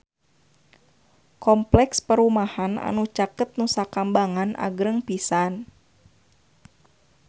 Kompleks perumahan anu caket Nusa Kambangan agreng pisan